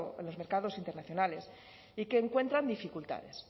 en los mercados internacionales y que encuentran dificultades